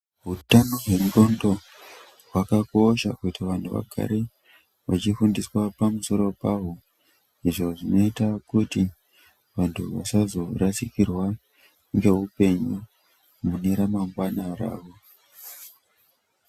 Hutano hwenxdondo hwakakosha kuti vantu vagare vachi fundiswa pamusoro paho. Izvo zvinoita kuti vantu vasazorasikirwa ngeupenyu mune ramangwana ravo.